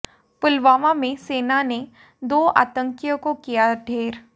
पुलवामा में सेना ने दो आतंकीयों को किया ढ़ेर